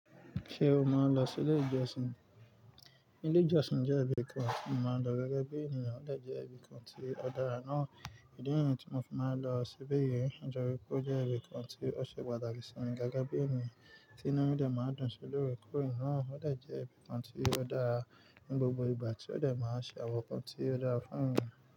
Ṣé o máa ń lọ sí ilé ìjọsìn? Ilé ìjọsìn jẹ́ ibi kan tí mo máa ń lọ gẹ́gẹ́ bí ènìyàn, ó dà jẹ́ ibi kan tí ó dára ná. Ìdí niyen tí mo fi máa ń lọ síbèyì jẹ́ wípé ó jẹ́ ibi kan tí ó ṣe pàtàkì sí mi gẹ́gẹ́ bí ènìyàn tí inu mi de máa ń dún sí lórekore naa, ó de jẹ́ ibi kan tí ó dára ní gbogbo ìgbà tí ó de máa ṣe àwọn ǹkan tí ó dára fún ènìyàn.